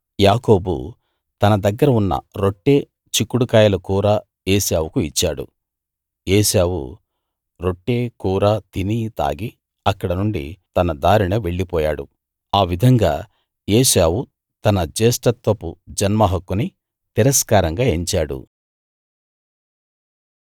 యాకోబు తన దగ్గర ఉన్న రొట్టె చిక్కుడు కాయల కూర ఏశావుకు ఇచ్చాడు ఏశావు రొట్టే కూరా తిని తాగి అక్కడ నుండి తన దారిన వెళ్లి పోయాడు ఆ విధంగా ఏశావు తన జ్యేష్ఠత్వపు జన్మ హక్కుని తిరస్కారంగా ఎంచాడు